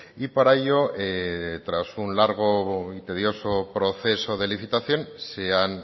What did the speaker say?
y para ello tras un largo y tedioso proceso de licitación se han